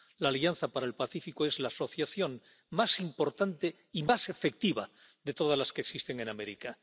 La Alianza para el Pacífico es la asociación más importante y más efectiva de todas las que existen en América.